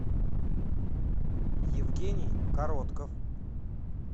евгений коротков